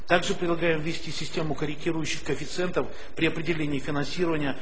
так же предлагаем ввести систему корректирующих коэффициентов при определении финансирования